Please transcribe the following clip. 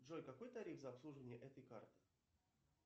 джой какой тариф за обслуживание этой карты